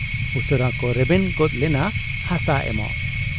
ᱩᱥᱟᱹᱨᱟ ᱠᱚ ᱨᱮᱵᱮᱱ ᱜᱚᱫ ᱞᱮᱱᱟ ᱦᱟᱥᱟ ᱮᱢᱚᱜ ᱾